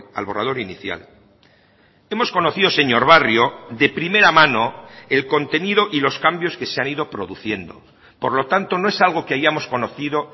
al borrador inicial hemos conocido señor barrio de primera mano el contenido y los cambios que se han ido produciendo por lo tanto no es algo que hayamos conocido